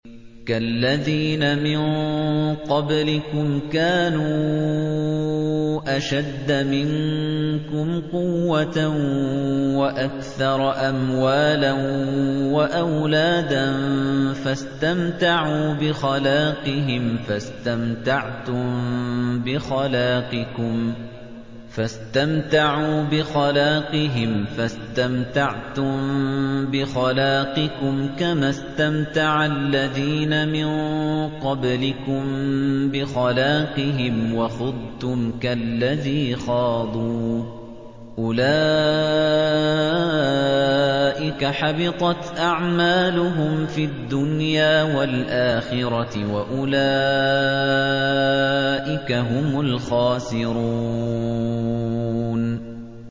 كَالَّذِينَ مِن قَبْلِكُمْ كَانُوا أَشَدَّ مِنكُمْ قُوَّةً وَأَكْثَرَ أَمْوَالًا وَأَوْلَادًا فَاسْتَمْتَعُوا بِخَلَاقِهِمْ فَاسْتَمْتَعْتُم بِخَلَاقِكُمْ كَمَا اسْتَمْتَعَ الَّذِينَ مِن قَبْلِكُم بِخَلَاقِهِمْ وَخُضْتُمْ كَالَّذِي خَاضُوا ۚ أُولَٰئِكَ حَبِطَتْ أَعْمَالُهُمْ فِي الدُّنْيَا وَالْآخِرَةِ ۖ وَأُولَٰئِكَ هُمُ الْخَاسِرُونَ